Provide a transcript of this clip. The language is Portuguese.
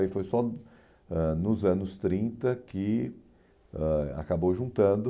E foi só ãh nos anos trinta que ãh acabou juntando.